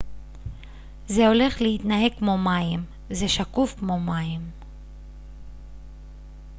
זה הולך להתנהג כמו מים זה שקוף כמו מים